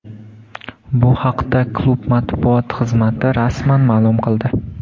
Bu haqda klub matbuot xizmati rasman ma’lum qildi.